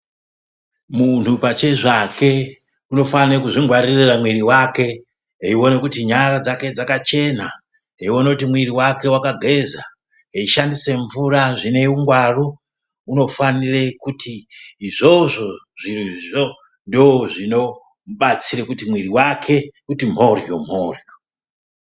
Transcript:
Munhu pachezvake unofanire kuzvingwarire mwiri wake eione kuti nyara dzake dzake dzakachena ,eione kuti mwiri wake wakageza, eishandise mvura zvine ungwaru unofanire kuti izvozvo zvirozvo ndizvo zvinomubatsire kuti mwiri wake uti mhoryo -mhoyro.